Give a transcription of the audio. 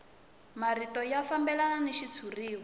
marito ya fambelana ni xitshuriwa